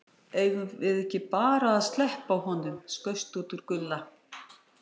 Eigum við ekki bara að sleppa honum, skaust út úr Gulla.